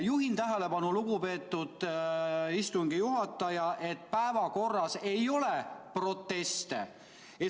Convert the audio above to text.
Juhin tähelepanu, lugupeetud istungi juhataja, et päevakorras ei ole proteste.